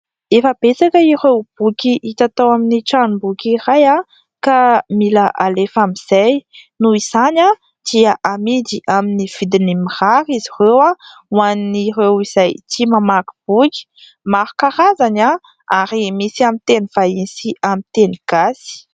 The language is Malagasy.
Efa betsaka ireo boky hita tao amin'ny tranomboky iray ka mila alefa amin'izay noho izany dia amidy amin'ny vidiny mirary izy ireo ho an'ireo izay tia mamaky boky. Maro karazany ary misy aminy teny vahiny sy amin'ny teny gasy.